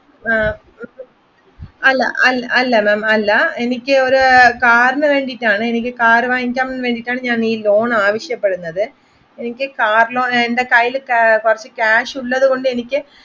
അല്ല അല്ല എനിക്ക് ഒരു കാറിന് വേണ്ടീട്ടാണ് ഒരു കാർ വാങ്ങിക്കാൻ വേണ്ടീട്ടാണ് ഞാൻ ഈ ലോൺ ആവശ്യപ്പെടുന്നത് എനിക്ക് കാർ ലോൺ എന്റെ കയ്യിൽ ക്യാഷ് ഉള്ളത് കൊണ്ട് എനിക്ക്